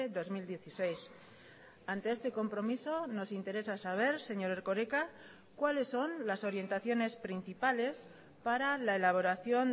dos mil dieciséis ante este compromiso nos interesa saber señor erkoreka cuáles son las orientaciones principales para la elaboración